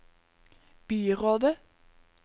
byrådet